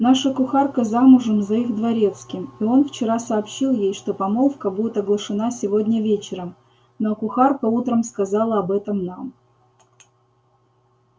наша кухарка замужем за их дворецким и он вчера сообщил ей что помолвка будет оглашена сегодня вечером ну а кухарка утром сказала об этом нам